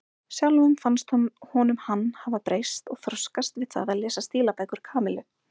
Sjálfum fannst honum hann hafa breyst og þroskast við það að lesa stílabækur Kamillu.